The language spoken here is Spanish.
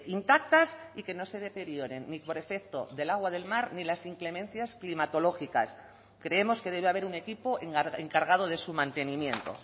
intactas y que no se deterioren ni por efecto del agua del mar ni las inclemencias climatológicas creemos que debe haber un equipo encargado de su mantenimiento